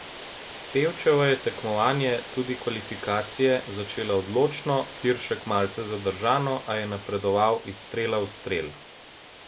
Pevčeva je tekmovanje, torej tudi kvalifikacije, začela odločno, Tiršek malce zadržano, a je napredoval iz strela v strel.